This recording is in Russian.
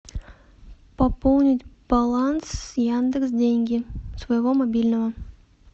пополнить баланс яндекс деньги с моего мобильного